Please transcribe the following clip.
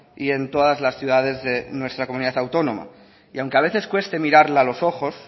y en todas las ciudades de nuestra comunidad autónoma y aunque a veces cueste mirarla a los ojo